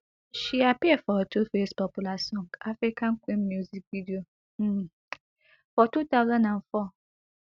she appear for tuface popular song african queen music video um for two thousand and four